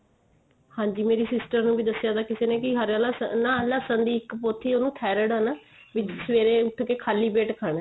ਹਾਂਜੀ ਮੇਰੀ sister ਨੂੰ ਵੀ ਦਸਿਆ ਥਾ ਵੀ ਕਿਸੇ ਨੇ ਹਰਾ ਲਸ਼ਣ ਨਾ ਲਸ਼ਣ ਦੀ ਇੱਕ ਪੋਥੀ ਉਹਨੂੰ thyroid ਏ ਨਾ ਵੀ ਸਵੇਰੇ ਉਠ ਕੇ ਖਾਲੀ ਪੇਟ ਖਾਣਾ